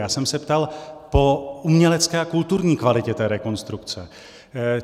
Já jsem se ptal po umělecké a kulturní kvalitě té rekonstrukce.